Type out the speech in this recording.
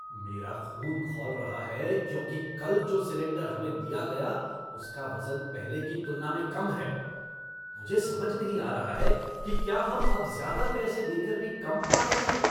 मेरा खून खौल रहा है क्योंकि कल जो सिलेंडर हमें दिया गया उसका वजन पहले की तुलना में कम है। मुझे समझ नहीं आ रहा है कि क्या हम अब ज्यादा पैसे देकर भी कम पा रहे हैं।